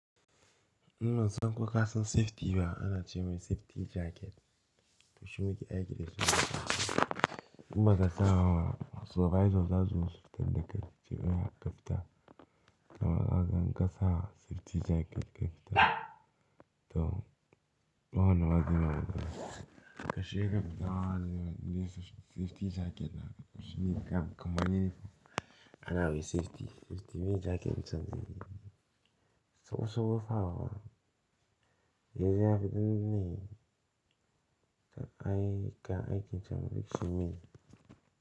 Ina son ku ka san safety ba, ana ce mai safety jacket. Tushi muke aikata shi. In ba ka sa wa survival za su fita daga cikin kafita. Kamar ka gan ka sa safety jacket kafita. To, kawai na gani ka shiga kafita, za su yi safety jacket na. Tushi kam, kamar yini ana yi safety, safety mai jacket can ne. So so fa wa, ya ji ya fi dinnan ne. Da aika, aikin can bashi me.